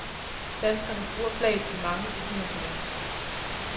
Danskerne bruger flaget til mange begivenheder.